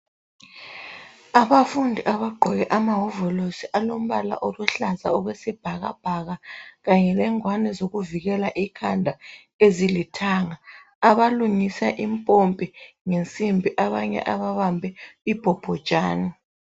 abafundi abagqoke amawovolosi alombala luhlaza okwesibhakabhaka kanye lengwani zokuvikela ikhanda ezilithanga abalungisa impompi ngensimbi abanye ababambe ibhobhojane